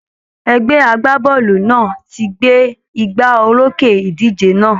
Ẹgbẹ́ a-gbá-bọ́ọ̀lù náà ti gbé igbá orókè ìdíje náà